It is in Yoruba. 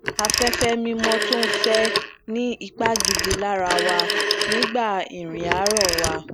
aféfé mimọ tó n fẹ ni ipa gidi lara wa nigba irin aarọ wa